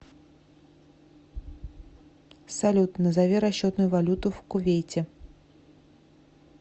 салют назови расчетную валюту в кувейте